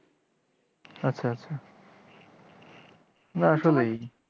আচ্ছা আচ্ছা না আসলেই